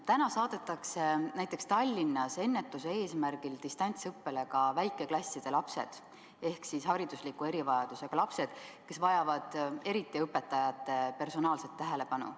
Täna saadetakse näiteks Tallinnas ennetuse eesmärgil distantsõppele ka väikeklasside lapsed ehk haridusliku erivajadusega lapsed, kes vajavad eriti õpetajate personaalset tähelepanu.